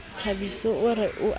thabiso o re o a